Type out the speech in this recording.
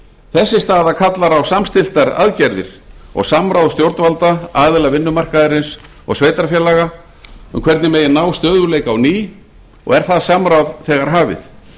þessi staða kallar á samstilltar aðgerðir og samráð stjórnvalda aðila vinnumarkaðarins og sveitarfélaga um hvernig megi ná stöðugleika á ný og er það samráð þegar hafið